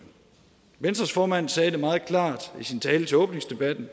venstres formand sagde det meget klart i sin tale ved åbningsdebatten